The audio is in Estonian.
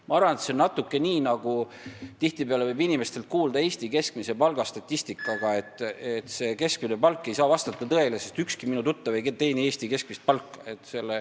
Ma arvan, et sellega on samamoodi, nagu tihtipeale võib inimestelt kuulda Eesti keskmise palga statistika kohta, et see ei saa vastata tõele, sest ükski selle inimese tuttav ei teeni Eesti keskmist palka.